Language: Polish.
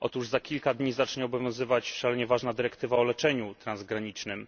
Za kilka dni zacznie obowiązywać szalenie ważna dyrektywa o leczeniu transgranicznym.